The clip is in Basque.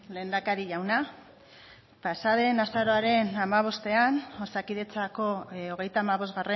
lehendakari jauna pasa den azaroaren hamabostean osakidetzako hogeita hamabost